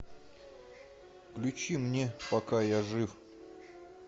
включи мне пока я жив